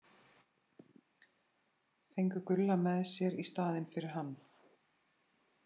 Fengu Gulla með sér í staðinn fyrir hann!